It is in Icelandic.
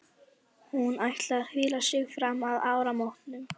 Hún ætlar að hvíla sig fram að áramótum.